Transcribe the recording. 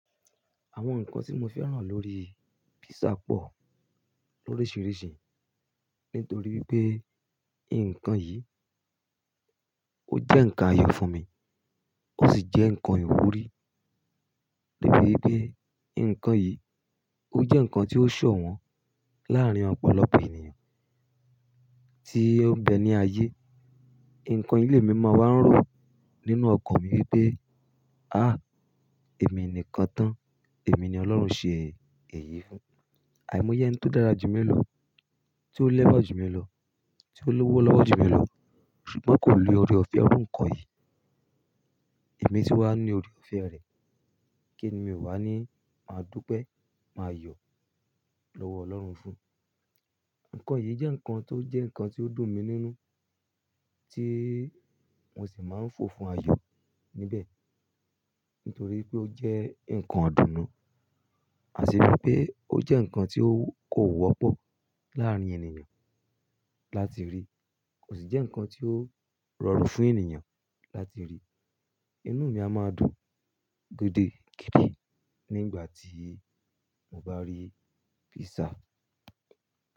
Àwọn nǹkan tí mo fẹ́ràn lórí písà pọ̀ lórísìírísìí nítorí pé nǹkan yìí, ó jẹ́ nǹkan ayọ̀ fún mi, ó sì jẹ́ nǹkan ìwúrí. Debi wipe nǹkan yìí, ó jẹ́ nǹkan tí ó ṣọ̀wọ́n láàárín ọ̀pọ̀lọpọ̀ ènìyàn tí ó ń bẹ ní ayé. Ǹkan yi le mi máa wa ń rò nínú ọkàn mi wípé, "àh! Èmi nìkan tán, èmi ni Ọlọ́run ṣe èyí fún." Àìmọ̀ yẹn tó dára jù mí ló, tí ó lẹ́wàá jù mí lọ, tí ó lówó lọ́wọ́ jù mí ló, ṣùgbọ́n kò ni ọrẹ òfe. Ǹkan yìí, èmi sì wá ní ọrẹ òfe rẹ̀, kí ni mi ò wá ní máa dúpẹ́, máa yọ̀ lọ́wọ́ Ọlọ́run fún? Ǹkan yìí jẹ́ nǹkan tó jẹ́ nǹkan tí ó dùn mi nínú, tí mo sì máa ń fò fún ayọ̀ níbẹ̀ nítorí pé ó jẹ́ nǹkan idùnnu. Àṣírí pé ó jẹ́ nǹkan tí ó kò wọ́pọ̀ láàrín ènìyàn láti rí kò sì jẹ́ nǹkan tí ó rọrùn fún ènìyàn láti rí. Inú mi á máa dùn gidigidi. Nígbà tí mo bá rí pízzà.